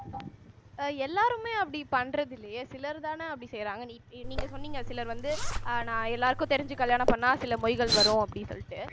அஹ் எல்லாருமே அப்படி பண்றது இல்லையே சிலர்தானே அப்படி செய்யறாங்க நீங்க சொன்னீங்க சிலர் வந்து அஹ் நான் எல்லாருக்கும் தெரிஞ்சு கல்யாணம் பண்ணா சில மொய்கள் வரும் அப்படின்னு சொல்லிட்டு